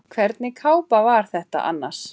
Hvernig kápa var þetta annars?